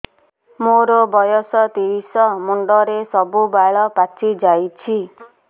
ମୋର ବୟସ ତିରିଶ ମୁଣ୍ଡରେ ସବୁ ବାଳ ପାଚିଯାଇଛି